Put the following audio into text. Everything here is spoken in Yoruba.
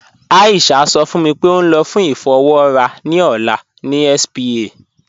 Aisha sọ fún mí pé ó n lọ fún ifọ̀wọra ni ọlá ni spa.